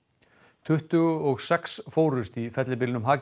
tuttugu og sex fórust í fellibylnum